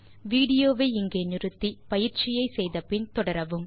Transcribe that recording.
விடியோவை இங்கே இடைநிறுத்தி கொடுத்த பயிற்சியை செய்தபின் தொடரவும்